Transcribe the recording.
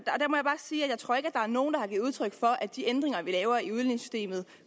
er nogen der har givet udtryk for at de ændringer vi laver af udligningssystemet